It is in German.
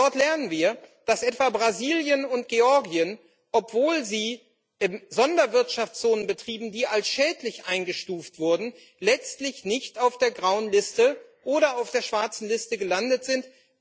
Und dort lernen wir, dass etwa Brasilien und Georgien, obwohl sie Sonderwirtschaftszonen betrieben, die als schädlich eingestuft wurden, letztlich nicht auf der grauen Liste oder auf der schwarzen Liste gelandet sind.